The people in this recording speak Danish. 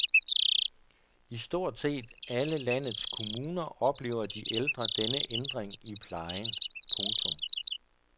I stort set alle landets kommuner oplever de ældre denne ændring i plejen. punktum